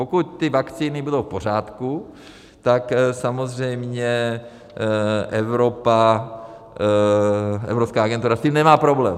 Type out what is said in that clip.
Pokud ty vakcíny budou v pořádku, tak samozřejmě Evropa, evropská agentura s tím nemá problém.